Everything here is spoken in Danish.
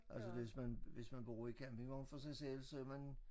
Altså hvis man hvis man bor i campingvogn for sig selv så er man